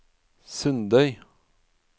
Sundøy